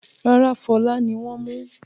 Rárá, Fọlá ni wọ́n mú.